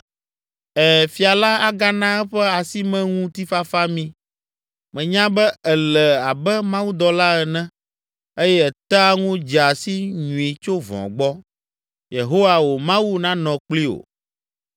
“Ɛ̃, fia la agana eƒe asimeŋutifafa mí. Menya be èle abe mawudɔla ene eye ètea ŋu dzea si nyui tso vɔ̃ gbɔ. Yehowa, wò Mawu, nanɔ kpli wò.”